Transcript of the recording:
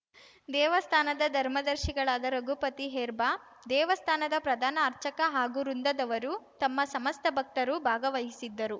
ದೇವಸ್ಥಾನದ ಧರ್ಮದರ್ಶಿಗಳಾದ ರಘುಪತಿ ಹೆರ್ಬ್ಬಾ ದೇವಸ್ಥಾನದ ಪ್ರಧಾನ ಅರ್ಚಕ ಹಾಗೂ ವೃಂದದವರು ತಮ್ಮ ಸಮಸ್ತ ಭಕ್ತರು ಭಾಗವಹಿಸಿದ್ದರು